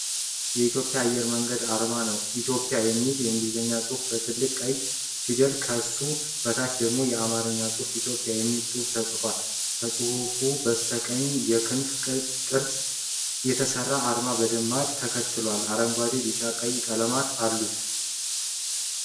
የኢትዮጵያ አየር መንገድ አርማ ነው። "Ethiopian" የሚለው የእንግሊዝኛ ቃል በትልልቅ ቀይ ፊደላት፣ ከሱ በታች ደግሞ የአማርኛ ጽሑፍ "ኢትዮጵያ" የሚል ጽሁፍ ተጽፏል። ከጽሁፉ በስተቀኝ፣ በክንፍ ቅርጽ የተሰራ አርማ በቅደም ተከተል አረንጓዴ፣ ቢጫና ቀይ ቀለሞች አሉት።